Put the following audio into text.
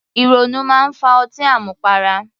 Ìrònú máa ń fa ọtí àmupara